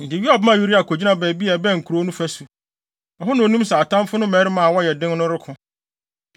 Enti Yoab maa Uria kogyinaa baabi a ɛbɛn kurow no fasu, a ɛhɔ na onim sɛ atamfo no mmarima a wɔyɛ den no reko.